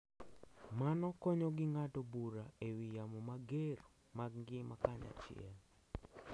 Mano konyogi ng’ado bura e wi yamo mager mag ngima kanyachiel,